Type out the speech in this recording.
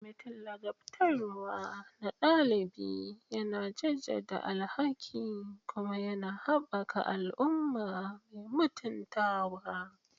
Kwamitin ladabtarwa na ɗalibi yana jaddada alhakin kuma yana haɓaka al'umma mai mutuntawa.